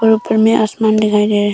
और ऊपर में आसमान दिखाई दे रहा--